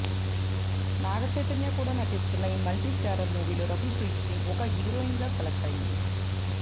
నాగ చైతన్య కూడా నటిస్తున్న ఈ మల్టీస్టారర్ మూవీలో రకుల్ ప్రీత్ సింగ్ ఒక హీరోయిన్ గా సెలెక్ట్ అయ్యింది